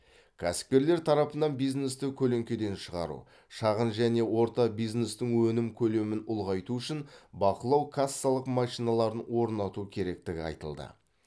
кәсіпкерлер тарапынан бизнесті көлеңкеден шығару шағын және орта бизнестің өнім көлемін ұлғайту үшін бақылау кассалық машиналарын орнату керектігі айтылды